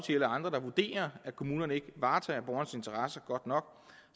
eller andre der vurderer at kommunerne ikke varetager borgernes interesser godt nok